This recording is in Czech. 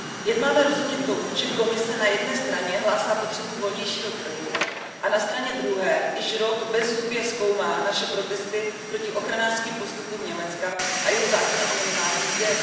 Jak máme rozumět tomu, že Komise na jedné straně hlásá potřebu volnějšího trhu a na straně druhé již rok bezzubě zkoumá naše protesty proti ochranářským postupům Německa a jeho zákona o minimální mzdě?